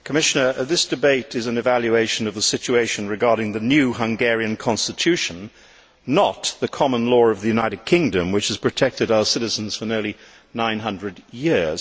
Madam President, Commissioner, this debate is an evaluation of the situation regarding the new Hungarian constitution, not the common law of the United Kingdom which has protected our citizens for nearly 900 years.